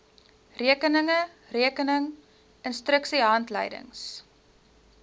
rekeninge rekening instruksiehandleidings